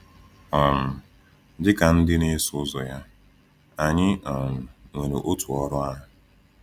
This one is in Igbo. um Dị ka ndị na-eso ụzọ ya, anyị um nwere otu ọrụ ahụ.